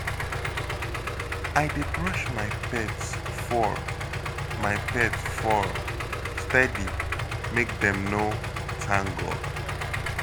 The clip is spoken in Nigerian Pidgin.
I dey brush my pet fur my pet fur steady make dem no tangle.